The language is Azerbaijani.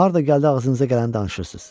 Harda gəldi ağzınıza gələni danışırsınız.